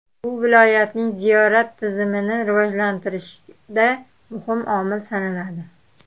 Bu viloyatning ziyorat turizmini rivojlantirishda muhim omil sanaladi.